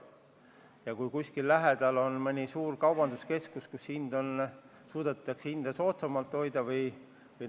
Ja kui kuskil lähedal on suur kaubanduskeskus, kus suudetakse soodsamaid hindu hoida, siis pole midagi teha.